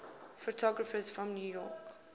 photographers from new york